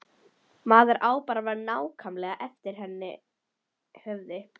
Maður á bara að vera nákvæmlega eftir hennar höfði.